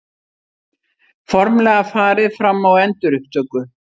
Formlega farið fram á endurupptöku